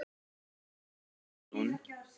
Gylfi Ásmundsson.